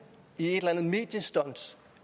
i et eller andet mediestunt